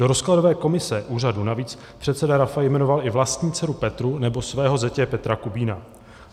Do rozkladové komise úřadu navíc předseda Rafaj jmenoval i vlastní dceru Petru nebo svého zetě Petra Kubína.